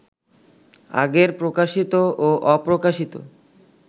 আগের প্রকাশিত ও অপ্রকাশিত